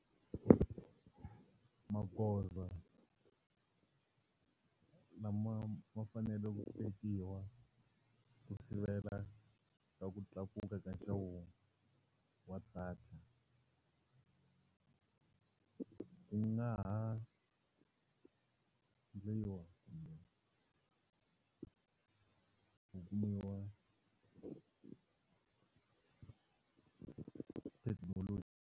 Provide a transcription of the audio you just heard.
Magoza lama ma faneleke ku tekiwa ku sivela ku tlakuka ka nxavo wa data u nga ha kumbe ku kumiwa thekinoloji.